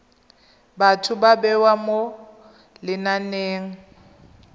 batho ba bewa mo lenaneng